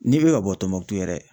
N'i be ka bɔ Tombouctou yɛrɛ